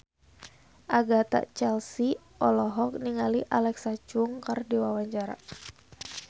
Agatha Chelsea olohok ningali Alexa Chung keur diwawancara